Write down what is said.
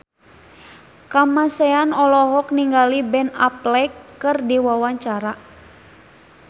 Kamasean olohok ningali Ben Affleck keur diwawancara